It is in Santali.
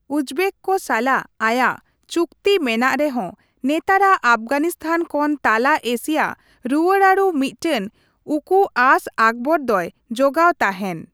ᱩᱡᱵᱮᱠ ᱠᱚ ᱥᱟᱞᱟᱜ ᱟᱭᱟᱜ ᱪᱩᱠᱛᱤ ᱢᱮᱱᱟᱜ ᱨᱮᱦᱚᱸ, ᱱᱮᱛᱟᱨᱟᱜ ᱟᱯᱷᱜᱟᱱᱤᱥᱛᱷᱟᱱ ᱠᱷᱚᱱ ᱛᱟᱞᱟ ᱮᱥᱤᱭᱟ ᱨᱩᱣᱟᱹᱲᱟᱹᱨᱩ ᱢᱤᱫᱴᱟᱝ ᱩᱠᱩ ᱟᱸᱥ ᱟᱠᱵᱚᱨ ᱫᱚᱭ ᱡᱚᱜᱟᱣ ᱛᱟᱦᱮᱸᱱ ᱾